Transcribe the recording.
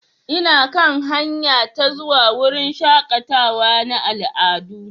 Ina kan hanya ta zuwa wurin shakatawa na al'adu.